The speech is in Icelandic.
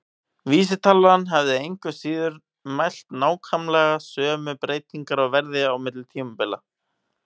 Vísitalan hefði engu að síður mælt nákvæmlega sömu breytingar á verði á milli tímabila.